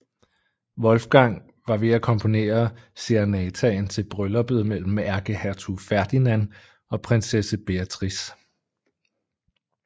Wolfgang var ved at komponere serenataen til brylluppet mellem ærkehertug Ferdinand og prinsesse Beatrice